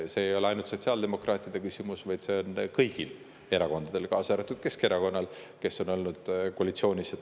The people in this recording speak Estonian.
See ei ole ainult sotsiaaldemokraatide küsimus, see on kõigil erakondadel, kaasa arvatud Keskerakonnal, kes on ka olnud koalitsioonis.